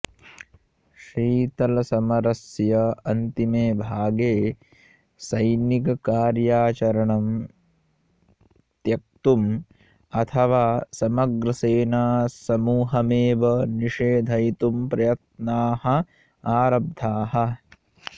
शीतलसमरस्य अन्तिमेभागे सैनिक कार्याचरणम् त्यक्तुम् अथवा समग्रसेनासमूहमेव निषेधयितुं प्रयत्नाः आरब्धाः